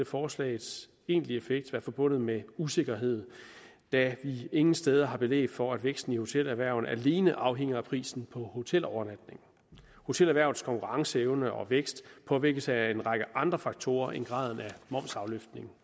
forslagets egentlige effekt ville være forbundet med usikkerhed da vi ingen steder har belæg for at væksten i hotelerhvervet alene afhænger af prisen på hotelovernatninger hotelerhvervets konkurrenceevne og vækst påvirkes af en række andre faktorer end graden af momsafløftning